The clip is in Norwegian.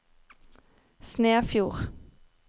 Snefjord